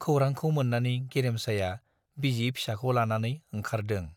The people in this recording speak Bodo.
खौरांखौ मोन्नानै गेरेमसाया बिसि फिसाखौ लानानै ओंखारदों।